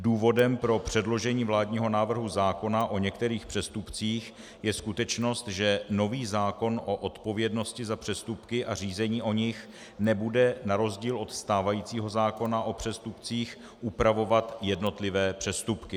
Důvodem pro předložení vládního návrhu zákona o některých přestupcích je skutečnost, že nový zákon o odpovědnosti za přestupky a řízení o nich nebude na rozdíl od stávajícího zákona o přestupcích upravovat jednotlivé přestupky.